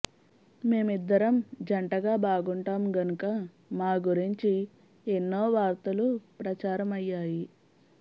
మేమిద్దరం జంటగా బాగుంటాం గనుక మా గురించి ఎన్నో వార్తలు ప్రచారమయ్యాయి